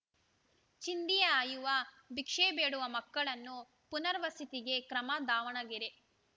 ಚಿಂದಿ ಆಯುವ ಭಿಕ್ಷೆ ಬೇಡುವ ಮಕ್ಕಳನ್ನು ಪುನರ್‌ವಸತಿಗೆ ಕ್ರಮ ದಾವಣಗೆರೆ